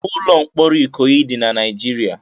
Ụlọ mkpọrọ Ikoyi dị na Naịjirịa